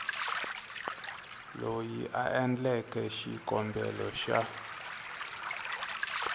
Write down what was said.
loyi a endleke xikombelo xa